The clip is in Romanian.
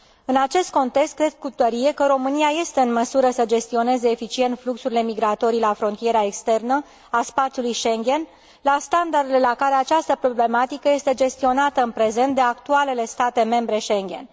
În acest context, cred cu tărie că România este în măsură să gestioneze eficient fluxurile migratorii la frontiera externă a spațiului Schengen, la standardele la care această problematică este gestionată în prezent de actualele state membre Schengen.